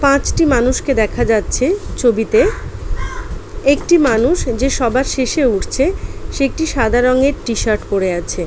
পাঁচটি মানুষকে দেখা যাচ্ছে ছবিতে একটি মানুষ যে সবার শেষে উঠছে সেএকটি সাদা রংয়ের টি শার্ট পড়ে আছে।